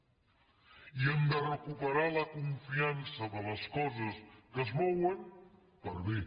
i hem de recuperar la confiança de les coses que es mouen per a bé